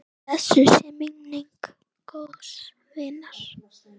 Blessuð sé minning góðs vinar.